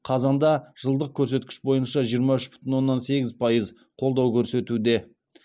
қазанда жылдық көрсеткіш бойынша жиырма үш бүтін оннан сегіз пайыз қолдау көрсетуде